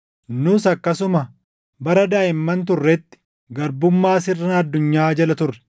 Nus akkasuma bara daaʼimman turretti garbummaa sirna addunyaa jala turre.